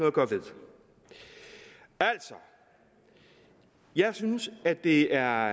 at gøre ved altså jeg synes at det er